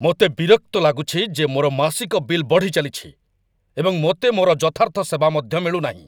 ମୋତେ ବିରକ୍ତ ଲାଗୁଛି ଯେ ମୋର ମାସିକ ବିଲ୍ ବଢ଼ିଚାଲିଛି, ଏବଂ ମୋତେ ମୋର ଯଥାର୍ଥ ସେବା ମଧ୍ୟ ମିଳୁନାହିଁ।